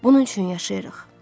Bunun üçün yaşayırıq.